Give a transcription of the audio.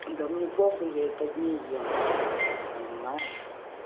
да мне похуй я и под ней ем понимаешь